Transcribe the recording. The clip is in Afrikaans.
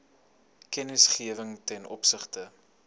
kennisgewing ten opsigte